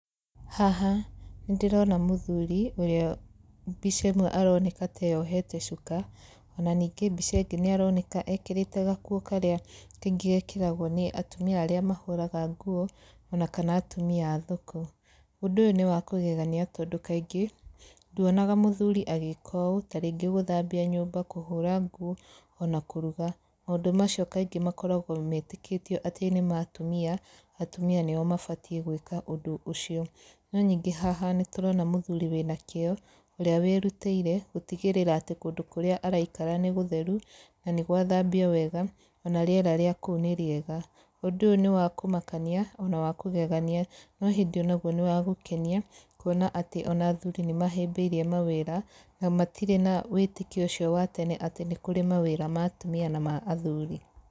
Haha, nĩ ndĩrona mũthuri ũrĩa mbica ĩmwe aroneka ta eyohete cuka, ona ningĩ mbica ĩngĩ nĩ aroneka ekĩrĩte gakuo karĩa kaingĩ gekĩragwo nĩ atumia arĩa mahũraga nguo ona kana atumia a thoko. Ũndũ ũyũ nĩ wa kũgegania tondũ kaingĩ, nduonaga mũthuri agĩĩka ũũ, tarĩngĩ gũthambia nyũmba, kũhũra nguo ona kũruga. Maũndũ macio kaingĩ makoragwo metĩkĩtio atĩ nĩ ma atumia, atumia nĩo mabatiĩ gwĩka ũndũ ũcio. No ningĩ haha nĩ turona mũthuri wĩna kĩo, ũrĩa wĩrutĩire gũtigĩrĩra atĩ kũndũ kũrĩa araikara nĩ gũtheru na nĩ gwathambio wega ona rĩera rĩa kũu nĩ rĩega. Ũndũ ũyũ nĩ wa kũmakania ona wa kũgeania no hĩndĩ ona guo nĩ wa gũkenia, kuona atĩ ona athuri nĩ mahĩmbĩirie mawĩra, na matirĩ na wĩtĩkio ũcio wa tene atĩ nĩ kũrĩ mawĩra ma atumia na ma athuri.